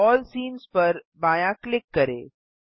अल्ल scenes पर बायाँ click करें